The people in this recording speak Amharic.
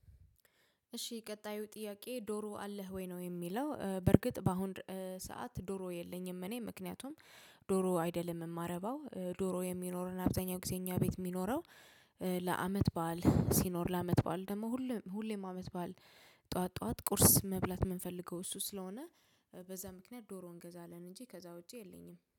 እሺ ቀጣዩ ጥያቄ ዶሮ አለህ ወይ? ነው የሚለው። በርግጥ በአሁን ሰዓት ዶሮ የለኝም እኔ። ምክንያቱም ዶሮ አይደለም የማረባው። ዶሮ የሚኖረን አብዛኛው ጊዜኛ ቤት የሚኖረው ለአመት በዓል ሲኖር። ለአመት በዓል ደግሞ ሁሌም ሁሌም አመት በዓል ጠዋት ጠዋት ቁርስ መብላት የምንፈልገው እሱ ስለሆነ በዛ ምክንያት ዶሮ እንገዛለን እንጂ ከዛ ውጪ የለኝም።